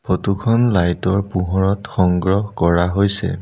Photo খন light ৰ পোহৰত সংগ্ৰহ কৰা হৈছে।